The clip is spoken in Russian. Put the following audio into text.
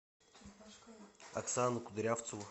оксану кудрявцеву